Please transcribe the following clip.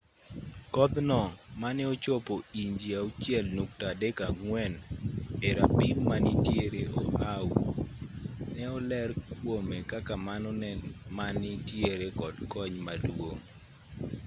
kodh no mane ochopo inji 6.34 e rapim manitiere oahu ne oler kuome kaka mano ma nitiere kod kony maduong